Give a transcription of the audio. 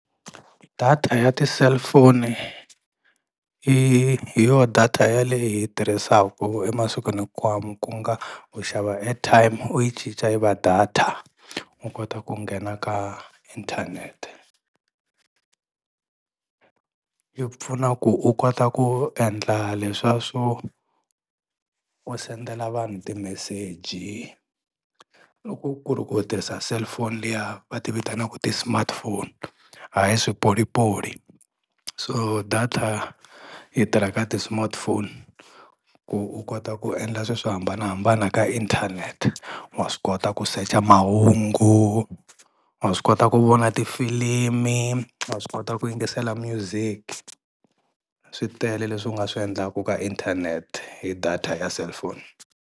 Data ya ti-cellphone i hi yo data yaleyi hi tirhisaku emasikwini hinkwawo ku nga u xava airtime u yi cinca yi va data, u kota ku nghena ka inthanete. Yi pfuna ku u kota ku endla leswa swo u sendela vanhu timeseji loko ku ri ku u tirhisa cellphone liya va ti vitanaka ti-smartphone hayi swipolipoli. So data yi tirha ka ti-smartphone ku u kota ku endla swi swo hambanahambana ka inthanete, wa swi kota ku secha mahungu, wa swi kota ku vona tifilimi, wa swi kota ku yingisela music, swi tele leswi u nga swi endlaku ka inthanete hi data ya cellphone.